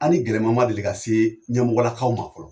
Ani gɛlɛman ma deli ka se ɲɛmɔgɔlakaw ma fɔlɔ